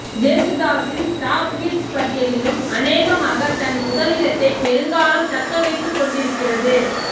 ஜேசுதாஸின் top hits பட்டியலிலும் அனேகமாகத் தன் முதலிடத்தைப் பெருங்காலம் தக்க வைத்துக் கொண்டிருக்கிறது